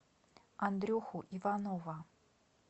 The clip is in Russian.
андрюху иванова